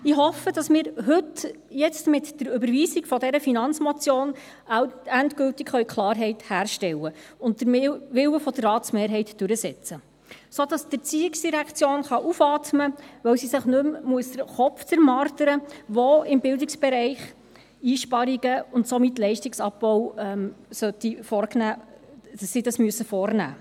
Ich hoffe, dass wir jetzt heute mit der Überweisung der Finanzmotion endgültig Klarheit herstellen und den Willen der Ratsmehrheit durchsetzen können, sodass die ERZ aufatmen kann, weil sie sich nicht mehr den Kopf zermartern muss, wo im Bildungsbereich Einsparungen und somit Leistungsabbau vorgenommen werden sollen.